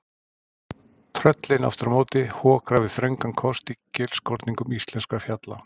Tröllin, aftur á móti, hokra við þröngan kost í gilskorningum íslenskra fjalla.